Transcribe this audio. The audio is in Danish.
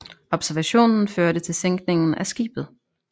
Observationen førte til sænkningen af skibet